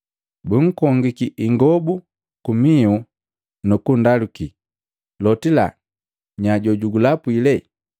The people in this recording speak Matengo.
Bunkongiki ingobu kumihu nu kundaluki, “Lotila, nya jojugulapwile?”